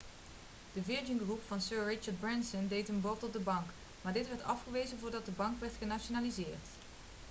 de virgin group van sir richard branson deed een bod op de bank maar dit werd afgewezen voordat de bank werd genationaliseerd